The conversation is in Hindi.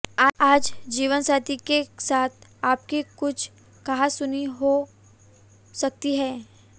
आज जीवनसाथी के साथ आपकी कुछ कहासुनी हो सकती है